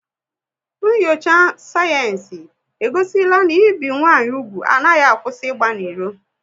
Nyocha sayensị e gosila na ibi nwanyị úgwù anaghị akwụsị ịgba n'ilo